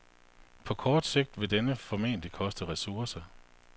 På kort sigt vil dette formentlig koste ressourcer.